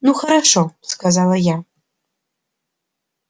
ну хорошо сказала я